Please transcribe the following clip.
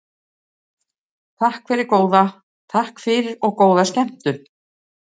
Takk fyrir og góða skemmtun.